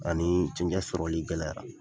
Ani sɔgɔlikɛla